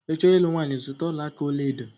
Ị chọọ ịlụ nwanyị, zutakwa ọla aka ọlaedo.